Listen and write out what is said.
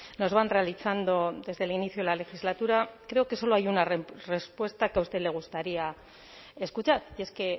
nos van realizando desde el inicio de la legislatura creo que solo hay una respuesta que a usted le gustaría escuchar y es que